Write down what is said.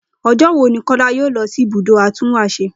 O̩jó̩ wo ni Kó̩lá yóò lo̩ si ibùdó atúnwàs̩e?